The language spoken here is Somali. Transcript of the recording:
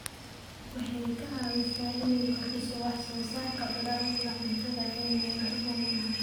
Waxay ka caawisaa inay kordhiso wax soo saarka dalagyada cuntada ee meelaha oomanaha ah.